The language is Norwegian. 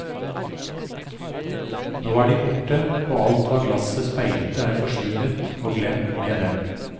Nå er de borte, og alt hva glasset speilte er forsvunnet og glemt med dem.